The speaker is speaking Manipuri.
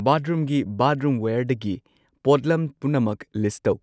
ꯕꯥꯊꯔꯨꯝꯒꯤ ꯕꯥꯊꯔꯨꯝꯋꯦꯔꯗꯒꯤ ꯄꯣꯠꯂꯝ ꯄꯨꯝꯅꯃꯛ ꯂꯤꯁꯠ ꯇꯧ꯫